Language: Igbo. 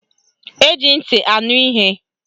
Eji ntị anụ ihe.